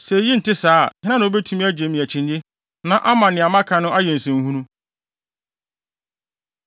“Sɛ eyi nte saa a, hena na obetumi agye me akyinnye na ama nea maka no ayɛ nsɛnhunu?”